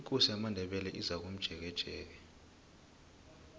ikosi yamandebele izakomjekejeke